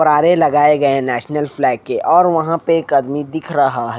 लगाए गए हैं नेशनल फ्लैग के और वहां पे एक आदमी दिख रहा है।